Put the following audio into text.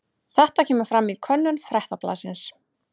Þetta kemur fram í könnun Fréttablaðsins